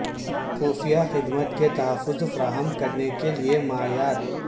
خفیہ خدمت کے تحفظ فراہم کرنے کے لئے معیار